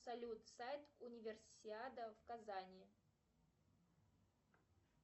салют сайт универсиада в казани